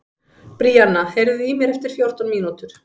Bríanna, heyrðu í mér eftir fjórtán mínútur.